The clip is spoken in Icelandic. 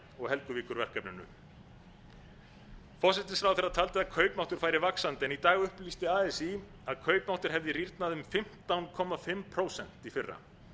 og helguvíkurverkefninu forsætisráðherra taldi að kaupmáttur færi vaxandi en í dag upplýsti así að kaupmáttur hefði rýrnað um fimmtán og hálft prósent í fyrra